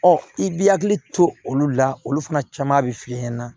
Ɔ i b'i hakili to olu la olu fana caman bɛ f'i ɲɛna